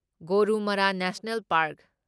Gorumara national park